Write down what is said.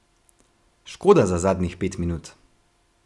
Škoda za zadnjih pet minut.